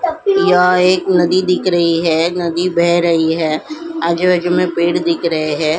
यह एक नदी दिख रही है नदी बह रही है आजू में पेड़ दिख रहे हैं ।